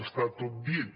està tot dit